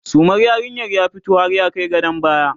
sumar yarinyar ya fito har ya Kai gadon baya